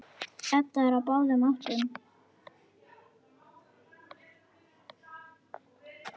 Edda er á báðum áttum.